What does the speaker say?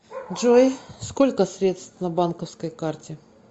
джой сколько средств на банковской карте